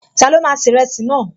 Ta ló máa ṣe ìrẹsì náà?